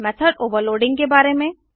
method overloading के बारे में